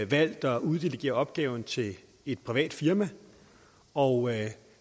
valgt at uddelegere opgaven til et privat firma og